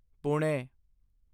Pune